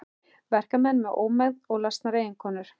Verkamenn með ómegð og lasnar eiginkonur.